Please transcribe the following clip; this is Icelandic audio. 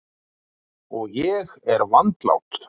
Og ég er vandlát.